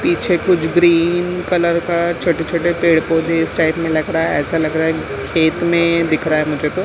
पीछे कुछ green colour का छोटे-छोटे पेड़-पौधे इस टाइप में लग रहा है ऐसा लग रहा है खेत में दिख रहा है मुझे तो।